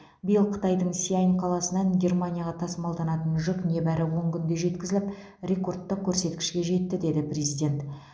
биыл қытайдың сиань қаласынан германияға тасымалданатын жүк небәрі он күнде жеткізіліп ректордтық көрсеткішке жетті деді президент